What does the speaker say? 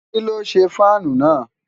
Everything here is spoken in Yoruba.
kí́ ló ṣe fáànù náà?